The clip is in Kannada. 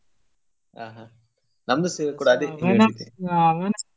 ಆ ಹಾ ನಮ್ದುಸ ಕೂಡ ಅದೇ .